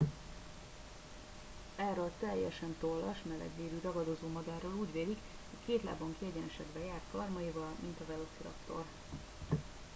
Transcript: erről a teljesen tollas melegvérű ragadozómadárról úgy vélik hogy két lábon kiegyenesedve járt karmaival mint a velociraptor